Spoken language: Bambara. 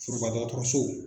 Foroba dɔgɔtɔrɔso